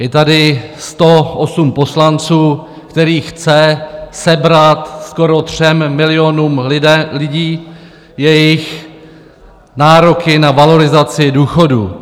Je tady 108 poslanců, kteří chtějí sebrat skoro třem milionům lidí jejich nároky na valorizaci důchodů.